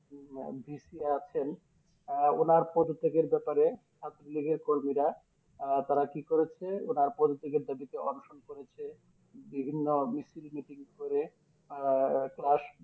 আহ VC আছেন আহ ওনার পদত্যাগের ব্যাপারে ছাত্র লীগের কর্মীরা আহ তারা কি করেছে ওরা পদত্যাগের দাবিতে অনশন করেছে বিভিন্ন মিছিল মিটিং করে আহ Class